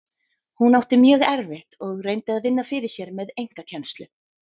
Hún átti mjög erfitt og reyndi að vinna fyrir sér með einkakennslu.